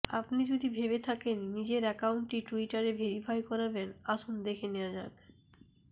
আপমি যদি ভেবে থাকেন নিজের অ্যাকাউন্টটি টুইটারে ভেরিফাই করাবেন আসুন দেখে নেওয়া যাক